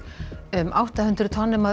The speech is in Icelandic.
um átta hundruð tonnum af